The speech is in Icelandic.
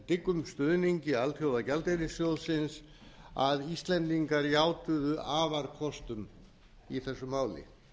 dyggum stuðningi alþjóðagjaldeyrissjóðsins að íslendingar játuðu afarkostum í þessu máli